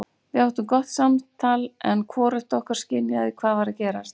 Við áttum gott samtal en hvorugt okkar skynjaði hvað var að gerast.